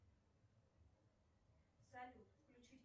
салют включить